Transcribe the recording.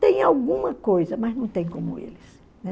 Tem alguma coisa, mas não tem como eles.